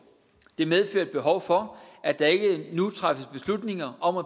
det medfører et behov for at der ikke nu træffes beslutninger om at